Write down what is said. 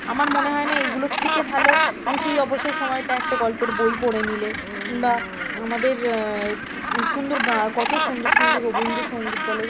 আমার মনে হয় না এইগুলোর থেকে ভালো তুমি সেই অবসর সময়টা একটা গল্পের বই পড়ে নিলে কিংবা আমাদের অ্যাঁ সুন্দর গা~ কত সুন্দর সুন্দর রবীন্দ্র সংগীত বল